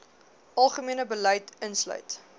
algemene beleid insluit